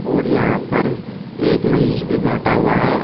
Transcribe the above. और यहां पर एक मरीज भी बैठा हुआ है।